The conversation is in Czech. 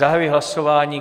Zahajuji hlasování.